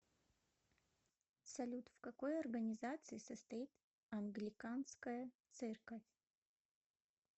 салют в какой организации состоит англиканская церковь